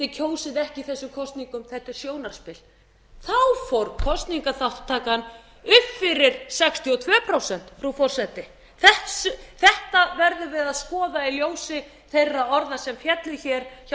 kjósið ekki í þessum kosningum þetta er sjónarspil þá fór kosningaþátttakan upp fyrir sextíu og tvö prósent frú forseti þetta verðum við að skoða í ljósi þeirra orða sem féllu hér hjá